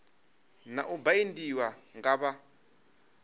na u baindiwa nga vha